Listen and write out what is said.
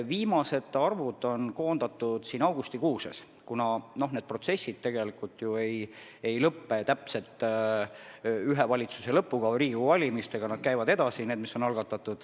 Viimased arvud on koondatud augustikuus, kuna algatatud protsessid tegelikult ju ei lõppe täpselt ühe valitsuse lõpuga või Riigikogu valimisega, need käivad edasi.